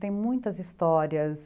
Tem muitas histórias.